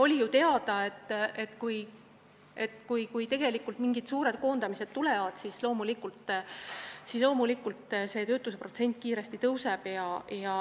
Oli ju teada, et kui mingid suured koondamised tulevad, siis loomulikult töötuse protsent kiiresti tõuseb.